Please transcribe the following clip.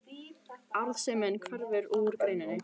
Arðsemin hverfur úr greininni